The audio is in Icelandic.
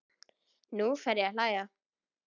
Nú fer ég að hlæja.